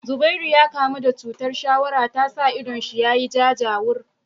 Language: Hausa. Zubairu ya kamu da chutar shawara tasa idon shi ya jajawur